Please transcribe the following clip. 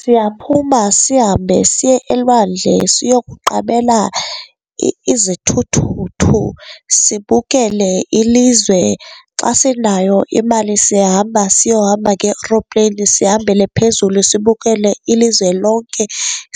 Siyaphuma sihambe siye elwandle siyokuqabela izithuthuthu, sibukele ilizwe. Xa sinayo imali siyahamba siyohamba ngee-aeroplane, sihambele phezulu sibukele ilizwe lonke.